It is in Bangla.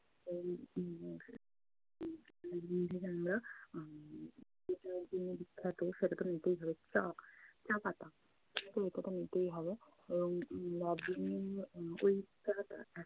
তো উম দার্জিলিং থেকে আমরা আহ যেটার জন্য বিখ্যাত সেটা তো নিতেই হবে চা, চা পাতা। সেটা তো নিতেই হবে, এবং দার্জিলিং উম ওই চা টা এত